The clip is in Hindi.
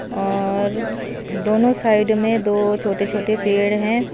अ और दोनों साइड में दो छोटे छोटे पेड़ है।